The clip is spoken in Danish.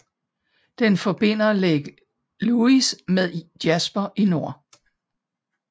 Den forbinder Lake Louise med Jasper i nord